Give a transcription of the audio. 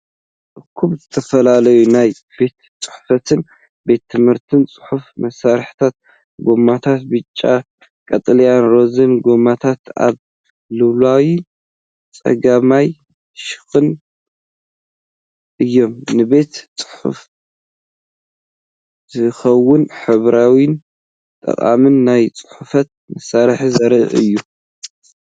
እኩብ ዝተፈላለዩ ናይ ቤት ጽሕፈትን ቤት ትምህርትን ጽሕፈት መሳርሒታት። ጎማታት ብጫ፣ ቀጠልያን ሮዛን ጎማታት ኣብ ላዕለዋይ ጸጋማይ ሸነኽ እዮም። ንቤት ጽሕፈት ዝኸውን ሕብራዊን ጠቓምን ናይ ጽሕፈት መሳርሒታት ዘርኢ እዩ።